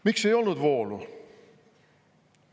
Miks ei olnud voolu?